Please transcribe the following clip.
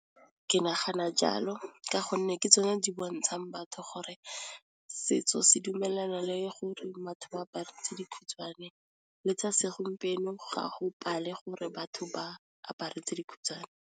Ke nagana jalo ka gonne ke tsone di bontshang batho gore, setso se dumelana le gore batho ba apara tse dikhutshwane le tsa segompieno ga go pale gore batho ba apare tse dikhutshwane.